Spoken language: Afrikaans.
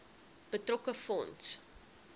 betrokke fonds